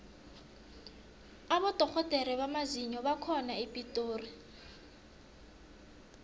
abodorhodere bamazinyo bakhona epitori